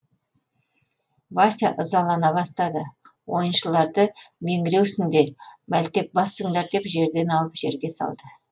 вася ызалана бастады ойыншыларды меңіреусіңдер мәлтекбассыңдар деп жерден алып жерге салды